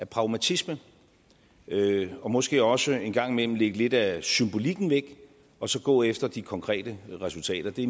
pragmatisme og måske også en gang imellem lægge lidt af symbolikken væk og så gå efter de konkrete resultater det